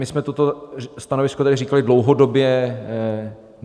My jsme toto stanovisko tady říkali dlouhodobě.